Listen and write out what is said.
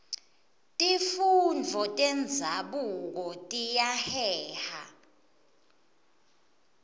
tifundvo tenzabuko tiyaheha